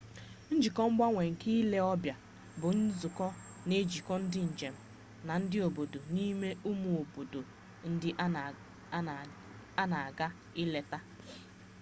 njikọ mgbanwe nke ile ọbịa bụ nzụkọ na ejikọ ndị njem na ndị obodo n'ime ụmụ obodo ndị ha na-aga eleta